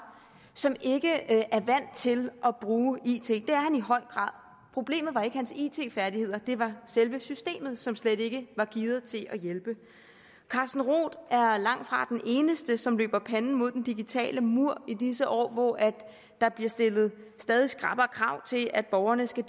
som ikke er vant til at bruge it for det er han i høj grad problemet var ikke hans it færdigheder men selve systemet som slet ikke var gearet til at hjælpe carsten roth er er langtfra den eneste som løber panden mod den digitale mur i disse år hvor der bliver stillet stadig skrappere krav til at borgerne skal